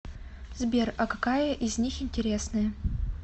сбер а какая из них интересная